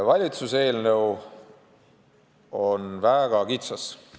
Valitsuse eelnõu on väga kitsas.